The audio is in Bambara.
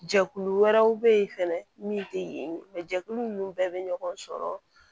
Jɛkulu wɛrɛw bɛ yen fɛnɛ min tɛ yen jɛkulu ninnu bɛɛ bɛ ɲɔgɔn sɔrɔ